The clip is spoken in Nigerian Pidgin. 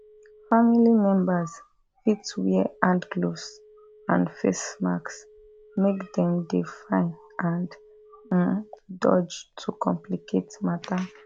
family members fit wear hand gloves and face mask make dem dey fine and um dodge to complicate matter